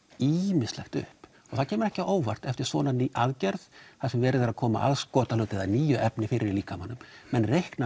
ýmislegt upp og það kemur ekki á óvart eftir svona aðgerð þar sem verið er að koma aðskotahlut eða nýju efni fyrir í líkamanum menn reikna